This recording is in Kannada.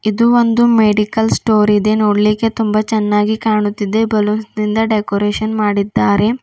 ಇದು ಒಂದು ಮೆಡಿಕಲ್ ಸ್ಟೋರ್ ಇದೆ ನೋಡ್ಲಿಕ್ಕೆ ತುಂಬ ಚನ್ನಾಗಿ ಕಾಣುತ್ತಿದ್ದೆ ಬಲೂನ್ಸ್ ನಿಂದ ಡೆಕೋರೇಷನ್ ಮಾಡಿದ್ದಾರೆ.